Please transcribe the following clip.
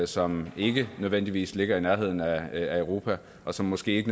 som ikke nødvendigvis ligger i nærheden af europa og som måske ikke